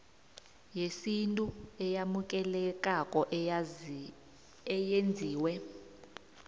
yesintu eyamukelekako eyenziwe